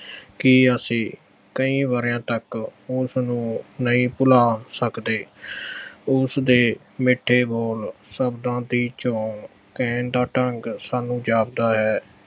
ਕਿ ਅਸੀਂ ਕਈ ਵਰ੍ਹਿਆਂ ਤੱਕ ਉਸਨੂੰ ਨਹੀਂ ਭੁਲਾ ਸਕਦੇ। ਉਸਦੇ ਮਿੱਠੇ ਬੋਲ, ਸ਼ਬਦਾਂ ਦੀ ਚੋਣ, ਕਹਿਣ ਦਾ ਢੰਗ ਸਾਨੂੰ ਜਾਪਦਾ ਹੈ